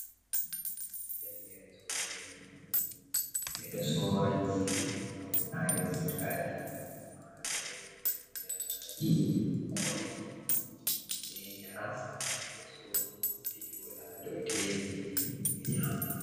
Fellere sorugo nyamdu, be do sora nyiri hautade butali, malaori dankali koi be njaram to be sodi ɓe joɗa dow teebulji be nyama.